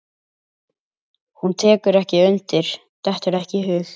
Hún tekur ekki undir, dettur það ekki í hug.